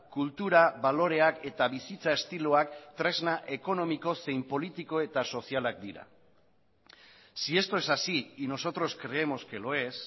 kultura baloreak eta bizitza estiloak tresna ekonomiko zein politiko eta sozialak dira si esto es así y nosotros creemos que lo es